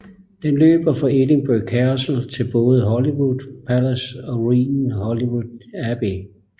Den løber fra Edinburgh Castle til både Holyrood Palace og ruinen Holyrood Abbey